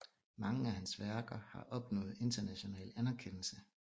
Mange af hans værker har opnået international anerkendelse